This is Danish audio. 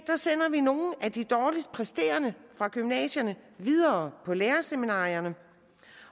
sender vi nogle af de dårligst præsterende fra gymnasierne videre på lærerseminarierne